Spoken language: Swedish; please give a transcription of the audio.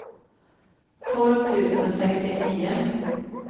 tolv tusen sextionio